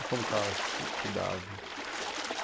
E como que elas se se davam?